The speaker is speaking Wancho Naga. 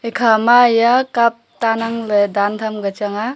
ekhama ya cup tan angley dan tham ka chang a.